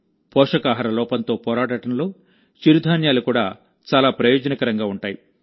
పోషకాహార లోపంతో పోరాడడంలో చిరుధాన్యాలు కూడా చాలా ప్రయోజనకరంగా ఉంటాయి